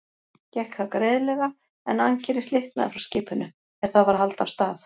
Gekk það greiðlega, en ankerið slitnaði frá skipinu, er það var að halda af stað.